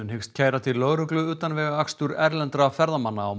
hyggst kæra til lögreglu utanvegaakstur erlendra ferðamanna á